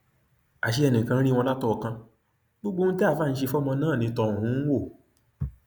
àṣé ẹnìkan ń rí wọn látọọkán gbogbo ohun tí àáfàá ń ṣe fọmọ náà ni tọhún ń wò